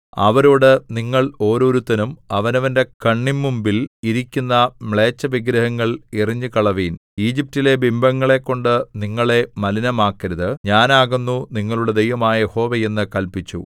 അവരോട് നിങ്ങൾ ഓരോരുത്തനും അവനവന്റെ കണ്ണിന്മുമ്പിൽ ഇരിക്കുന്ന മ്ലേച്ഛവിഗ്രഹങ്ങൾ എറിഞ്ഞുകളയുവിൻ ഈജിപ്റ്റിലെ ബിംബങ്ങളെക്കൊണ്ട് നിങ്ങളെ മലിനമാക്കരുത് ഞാനാകുന്നു നിങ്ങളുടെ ദൈവമായ യഹോവ എന്ന് കല്പിച്ചു